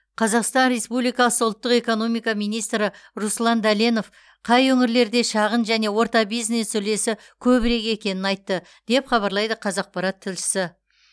қазақстан республикасы ұлттық экономика министрі руслан дәленов қай өңірлерде шағын және орта бизнес үлесі көбірек екенін айтты деп хабарлайды қазақпарат тілшісі